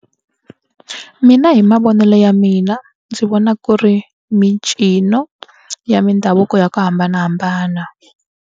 Mina hi mavonele ya mina ndzi vona ku ri mincino ya mindhavuko ya ku hambanahambana.